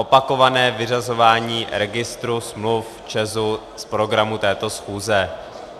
Opakované vyřazování registru smluv ČEZu z programu této schůze.